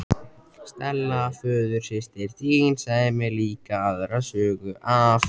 Stella föðursystir þín sagði mér líka aðra sögu af